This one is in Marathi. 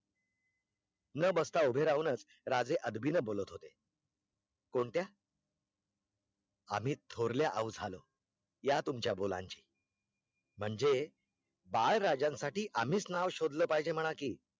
न बसता उभे राहूनच राजे अदबीने बोलत होते कोणत्या आम्ही थोर्ल्या औ झालो या तुमच्या बोलांचे म्हणजे बाळ राजेसाठी आम्हीच नाव शोधले पहिजे म्हणा की